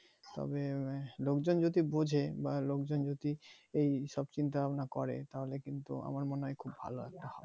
তবে লোকজন যদি বুঝে বা লোকজন যদি এই সব চিন্তা ভাবনা করে তাহলে কিন্তু আমার মনে হয় খুব ভালো হবে